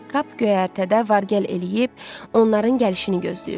Kap göyərtədə vargəl eləyib onların gəlişini gözləyirdi.